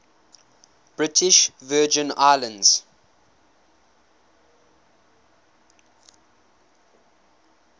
british virgin islands